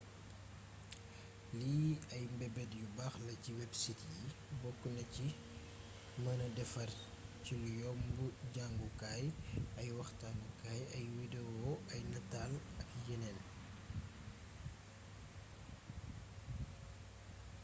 lii ay meebeet yu baax la ci websites yi boknaci meenee défar cilu yomb jangukaay ak ay waxtaanu kaay ay widewo ay natal ak yénéén